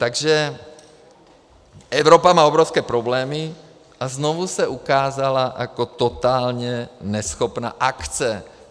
Takže Evropa má obrovské problémy a znovu se ukázala jako totálně neschopná akce.